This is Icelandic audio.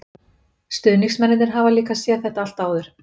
Stuðningsmennirnir hafa líka séð þetta allt áður.